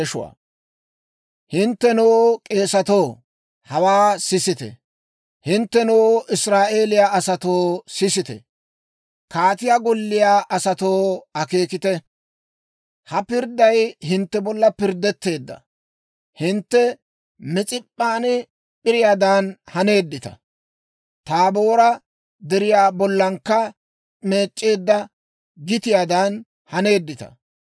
«Hinttenoo, k'eesatoo, hawaa sisite! Hinttenoo, Israa'eeliyaa asatoo, sisite! Kaatiyaa golliyaa asatoo, akeekite! Ha pirdday hintte bolla pirddetteedda. Hintte Mis'ip'p'an p'iriyaadan haneeddita; Taaboora Deriyaa bollakka mic'c'eedda gitiyaadan haneeddita.